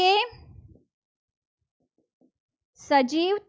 સજીવ